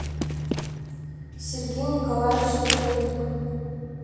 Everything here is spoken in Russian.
сергей николаевич михайлюк